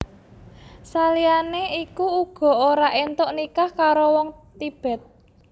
Saliyane iku uga ora entuk nikah karo wong Tibet